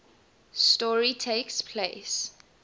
story takes place